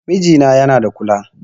Mijina yana da kula